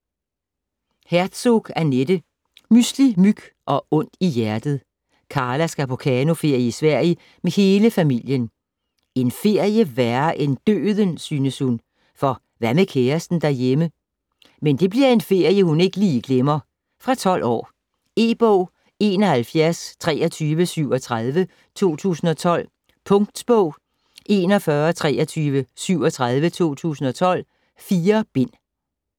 Herzog, Annette: Mysli, myg og ondt i hjertet Karla skal på kanoferie i Sverige med hele familien. En ferie værre end døden, synes hun, og hvad med kæresten derhjemme? Men det bliver en ferie hun ikke lige glemmer. Fra 12 år. E-bog 712337 2012. Punktbog 412337 2012. 4 bind.